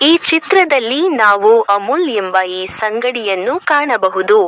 ಈ ಚಿತ್ರದಲ್ಲಿ ನಾವು ಅಮುಲ್ ಎಂಬ ಐಸ್ ಅಂಗಡಿಯನ್ನು ಕಾಣಬಹುದು.